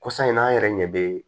Kɔsa in na an yɛrɛ ɲɛ bɛ